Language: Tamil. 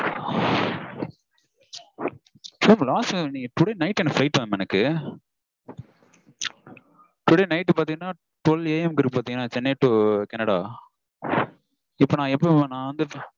Today night எனக்கு flight mam எனக்கு. Today night பாத்தீங்கனா twelveA. M -க்கு இருக்கு பாத்தீங்கனா சென்னை to கனடா. இப்போ நா எப்படி mam